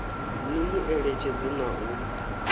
ni mu eletshedze na u